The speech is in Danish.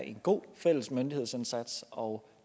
er en god fælles myndighedsindsats og